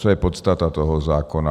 Co je podstata toho zákona?